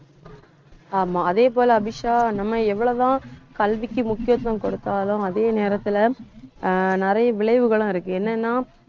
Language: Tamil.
ஆமா, அதே போல அபிஷா நம்ம எவ்வளவு தான் கல்விக்கு முக்கியத்துவம் கொடுத்தாலும் அதே நேரத்துல ஆஹ் நிறைய விளைவுகளும் இருக்கு என்னன்னா